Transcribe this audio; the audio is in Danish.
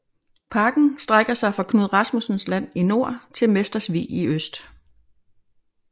Parken strækker sig fra Knud Rasmussens land i nord til Mesters Vig i øst